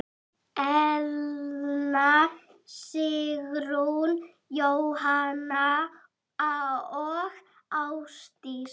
Elna Sigrún, Jóhanna og Ásdís.